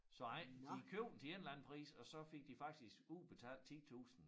Så ej de købte den til en eller anden pris og så fik de faktisk udbetalt 10 tusind